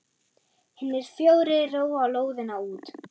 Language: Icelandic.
Hinir fjórir róa lóðina út.